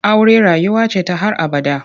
Aure rayuwa ce ta har abada.